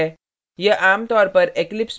यह आमतौर पर eclipse में नहीं होता है